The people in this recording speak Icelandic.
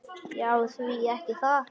Já, því ekki það.